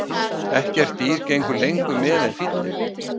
Ekkert dýr gengur lengur með en fíllinn.